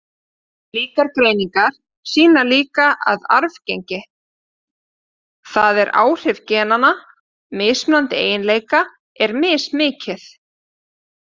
Slíkar greiningar sýna líka að arfgengi, það er áhrif genanna, mismunandi eiginleika er mismikið.